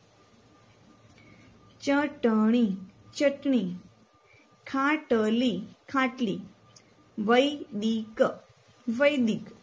ચટણી ચટણી ખાટલી ખાટલી વૈદિક વૈદિક